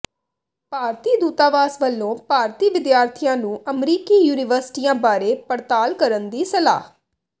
ਭਾਰਤੀ ਦੂਤਾਵਾਸ ਵੱਲੋਂ ਭਾਰਤੀ ਵਿਦਿਆਰਥੀਆਂ ਨੂੰ ਅਮਰੀਕੀ ਯੂਨੀਵਰਸਿਟੀਆਂ ਬਾਰੇ ਪੜਤਾਲ ਕਰਨ ਦੀ ਸਲਾਹ